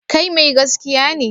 Kai mai gaskiya ne?